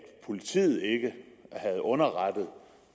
politiet ikke havde underrettet